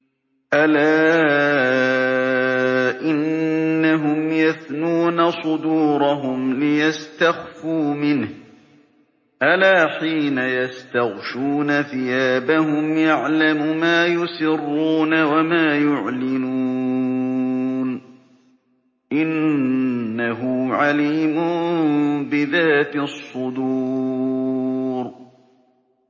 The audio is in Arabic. أَلَا إِنَّهُمْ يَثْنُونَ صُدُورَهُمْ لِيَسْتَخْفُوا مِنْهُ ۚ أَلَا حِينَ يَسْتَغْشُونَ ثِيَابَهُمْ يَعْلَمُ مَا يُسِرُّونَ وَمَا يُعْلِنُونَ ۚ إِنَّهُ عَلِيمٌ بِذَاتِ الصُّدُورِ